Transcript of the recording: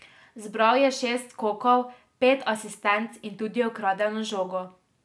Zbral je šest skokov, pet asistenc in tudi ukradeno žogo.